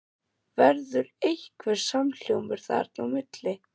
Verður einhver samhljómur þarna á milli?